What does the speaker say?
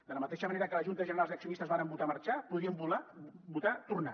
de la mateixa manera que les juntes generals d’accionistes varen votar marxar podrien votar tornar